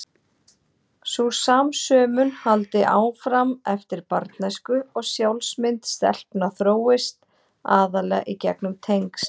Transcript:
Sú samsömun haldi áfram eftir barnæsku og sjálfsmynd stelpna þróist aðallega í gegnum tengsl.